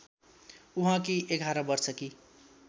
उहाँकी ११ वर्षकी